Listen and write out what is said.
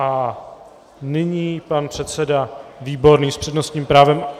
A nyní pan předseda Výborný s přednostním právem.